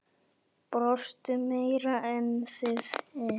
Brosti meira en við hin.